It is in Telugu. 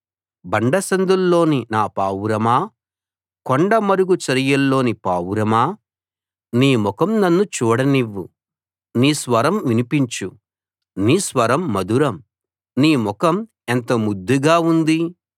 బండసందుల్లోని నా పావురమా కొండ మరుగు చరియల్లోని పావురమా నీ ముఖం నన్ను చూడ నివ్వు నీ స్వరం వినిపించు నీ స్వరం మధురం నీ ముఖం ఎంత ముద్దుగా ఉంది